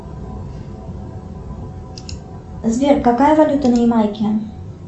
сбер какая валюта на ямайке